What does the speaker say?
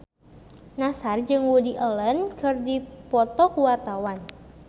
Nassar jeung Woody Allen keur dipoto ku wartawan